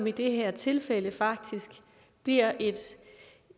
i det her tilfælde faktisk bliver